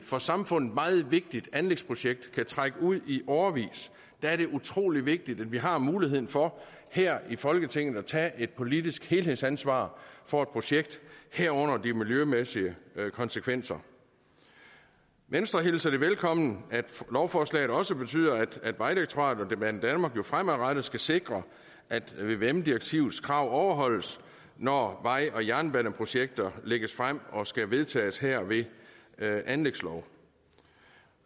for samfundet meget vigtigt anlægsprojekt kan trække ud i årevis det er utrolig vigtigt at vi har muligheden for her i folketinget at tage et politisk helhedsansvar for et projekt herunder de miljømæssige konsekvenser venstre hilser det velkommen at lovforslaget også betyder at vejdirektoratet og banedanmark fremadrettet skal sikre at vvm direktivets krav overholdes når vej og jernbaneprojekter lægges frem og skal vedtages her ved anlægslov